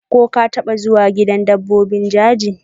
ko ka taba zuwa gidan dabbobi jeji?